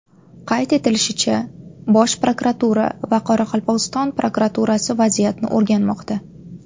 Qayd etilishicha, Bosh prokuratura va Qoraqalpog‘iston prokuraturasi vaziyatni o‘rganmoqda.